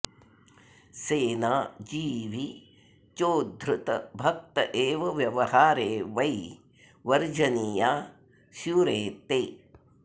सेना जीवी चोद्धृत भक्त एव व्यवहारे वै वर्जनीयाः स्युरेते